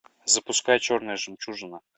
запускай черная жемчужина